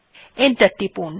enter টিপুন